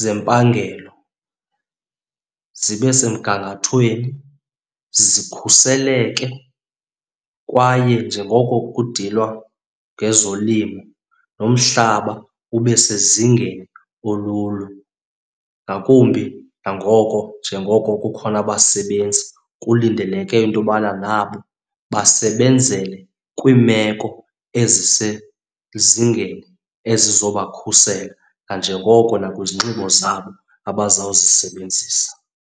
zempangelo zibe semgangathweni, zikhuseleke. Kwaye njengoko kudilwa ngezolimo nomhlaba ube sezingeni olulo, ngakumbi nangoko, njengoko kukhona abasebenzi kulindeleke into yobana nabo basebenzele kwiimeko ezisezingeni ezizobakhusela nanjengoko nakwizinxibo zabo abazawuzisebenzisa.